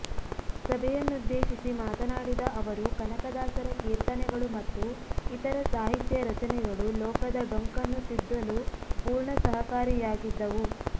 ಸಭೆಯನ್ನುದ್ದೇಶಿಸಿ ಮಾತನಾಡಿದ ಅವರು ಕನಕದಾಸರ ಕೀರ್ತನೆಗಳು ಮತ್ತು ಇತರ ಸಾಹಿತ್ಯ ರಚನೆಗಳು ಲೋಕದ ಡೊಂಕನ್ನು ತಿದ್ದಲು ಪೂರ್ಣ ಸಹಕಾರಿಯಾಗಿದ್ದವು